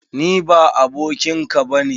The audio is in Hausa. Ni ba abokin ka ba ne!